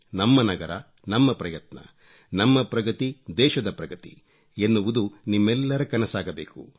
ನಮ್ಮ ನಗರ ನಮ್ಮ ಪ್ರಯತ್ನ ನಮ್ಮ ಪ್ರಗತಿದೇಶದ ಪ್ರಗತಿ ಎನ್ನುವುದು ನಿಮ್ಮೆಲ್ಲರ ಕನಸಾಗಬೇಕು